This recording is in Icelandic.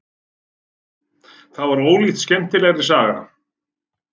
Það var ólíkt skemmtilegri saga.